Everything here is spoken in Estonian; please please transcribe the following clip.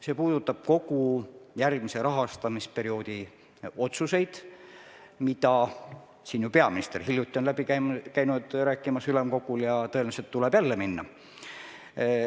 See puudutab kogu järgmise rahastamisperioodi otsuseid, mille üle peaminister käis hiljuti ülemkogul läbi rääkimas ja tõenäoliselt tuleb jälle minna.